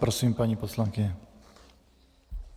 Prosím paní poslankyni.